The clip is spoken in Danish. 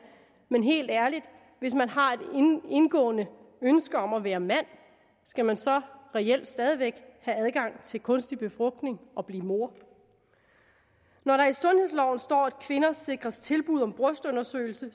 men helt ærligt hvis man har et indgående ønske om at være mand skal man så reelt stadig væk have adgang til kunstig befrugtning og blive mor når der i sundhedsloven står at kvinder sikres tilbud om brystundersøgelse